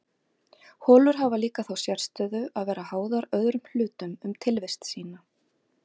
holur hafa líka þá sérstöðu að vera háðar öðrum hlutum um tilvist sína